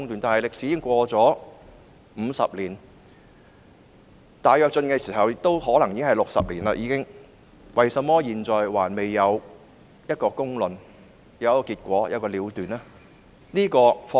但這段歷史已經過了50年，而大躍進發生已超過60年，為甚麼現在仍未有公論、結果和了斷？